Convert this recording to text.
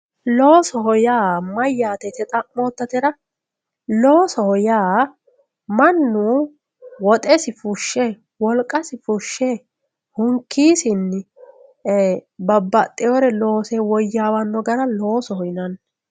loosoho yaa mayyate yite xa'moottotera loosoho yaa mannu woxesi fushshe wolqasi fushshe hunkiisinni babbaxewore loose woyyaawanno gara loosoho yinanni.